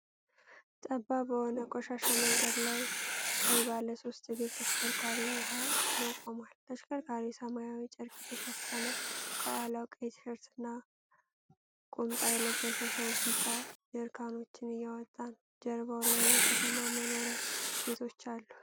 ጠባብ በሆነ ቆሻሻ መንገድ ላይ ቀይ ባለሶስት እግር ተሽከርካሪ ውሃ ጭኖ ቆሟል። ተሽከርካሪው ሰማያዊ ጨርቅ የተሸፈነ፣ ከኋላው ቀይ ቲሸርትና ቁምጣ የለበሰ ሰው ቢጫ ጀሪካኖችን እያወጣ ነው። ጀርባው ላይ የከተማ መኖሪያ ቤቶች አሉ።